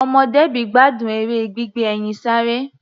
Ọmọ Debby gbádùn eré gbígbé ẹyin sáré.